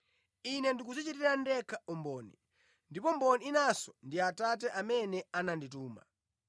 Ine ndikudzichitira ndekha umboni; ndipo mboni inanso ndi Atate amene anandituma.”